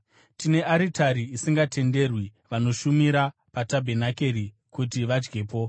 Tine aritari isingatenderwi vanoshumira patabhenakeri kuti vadyepo.